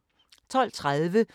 DR2